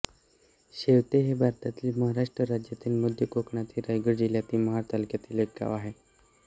शेवते हे भारतातील महाराष्ट्र राज्यातील मध्य कोकणातील रायगड जिल्ह्यातील महाड तालुक्यातील एक गाव आहे